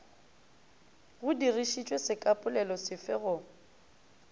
go dirišišwe sekapolelo sefe go